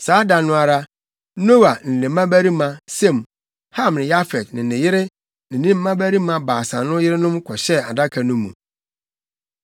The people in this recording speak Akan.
Saa da no ara, Noa ne ne mmabarima Sem, Ham ne Yafet ne ne yere ne ne mmabarima baasa no yerenom kɔhyɛɛ adaka no mu.